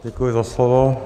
Děkuji za slovo.